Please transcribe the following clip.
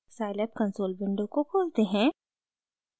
scilab console window को खोलते हैं